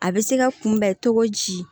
A bɛ se ka kunbɛn cogo ji